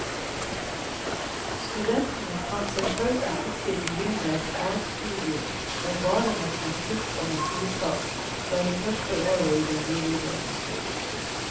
Studentene kan selvfølgelig ikke begynne et fagstudium med bare matematikk og naturfag fra det første år i den videregående skolen.